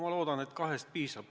Ma loodan, et kahest piisab.